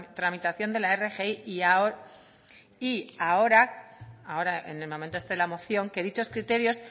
tramitación de la rgi y ahora en el momento este de la moción que dichos criterios